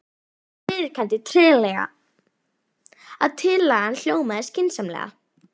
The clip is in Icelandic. Elsa viðurkenndi treglega að tillagan hljómaði skynsamlega.